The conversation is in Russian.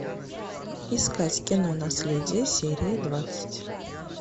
искать кино наследие серия двадцать